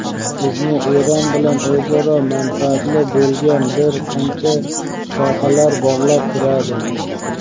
Bizni Eron bilan o‘zaro manfaatli bo‘lgan bir qancha sohalar bog‘lab turadi.